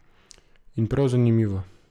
In prav zanimivo.